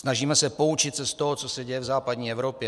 Snažíme se poučit z toho, co se děje v západní Evropě.